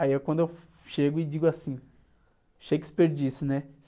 Aí é quando eu chego e digo assim, Shakespeare disse, né?